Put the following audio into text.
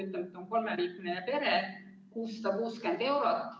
Ütleme, et on kolmeliikmeline pere – 660 eurot.